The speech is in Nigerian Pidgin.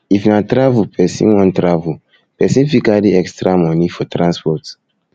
if na if na travel person wan travel person fit carry extra money for transport